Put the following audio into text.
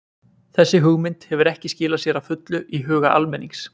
Þessi hugmynd hefur ekki skilað sér að fullu í huga almennings.